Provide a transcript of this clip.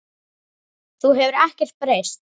Þú hefur ekkert breyst.